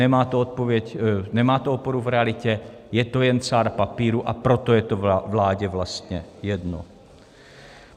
Nemá to oporu v realitě, je to jen cár papíru, a proto je to vládě vlastně jedno.